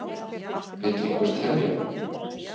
Vill einhver telja?